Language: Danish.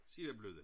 Sevablødda